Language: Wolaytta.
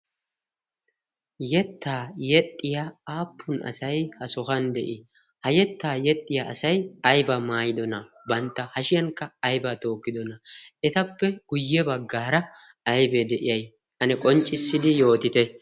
yettaa yexxiya aappun asai ha sohan de'ii ha yettaa yexxiya asay aiba maayidona bantta hashiyankka aibaa tookkidona etappe guyye baggaara aibee de'iyai ane qonccissidi yootite?